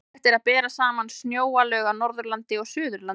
Fróðlegt er að bera saman snjóalög á Norðurlandi og Suðurlandi.